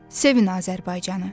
Sevin Azərbaycanı.